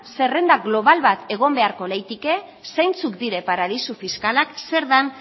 zerrenda global bat egon beharko litzateke zeintzuk dira paradisu fiskalak zer den